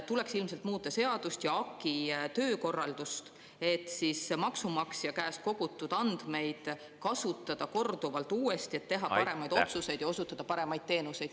Tuleks ilmselt muuta seadust ja AKI töökorraldust, et siis maksumaksja käest kogutud andmeid kasutada korduvalt uuesti, et teha paremaid otsuseid ja osutada paremaid teenuseid.